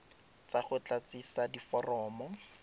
tsa go go tlatsisa diforomo